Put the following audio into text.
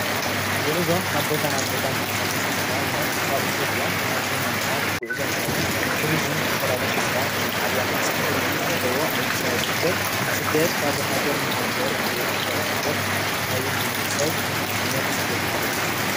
ጉዕዞ ካብ ቦታ ናብ ቦታ ምንቅስቃስ ንኣብነት ካብ ኢትዮጵያ ናብ ኬንያ ምካድ ጉዕዞ እንትኸውን ቱሪዝም ዝተፈላለየ መስሕባት ናይ ዓድዋ መስሕብ ቱሪዝም ዘለዎ ኣብ ኣዲስ ኣበባ ዝርከብ ስደት ካብ ሃገር ናብ ሃገር ብዘይ ሕጋዊ ስደት ዝኸይድ ብዙሕ ሰብ ዓይነት ስደት ሓደ እዩ።